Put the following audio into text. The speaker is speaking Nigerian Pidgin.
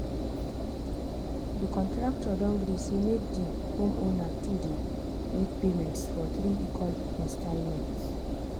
the contractor don gree say make the homeowner to dey make payments for three equal installments.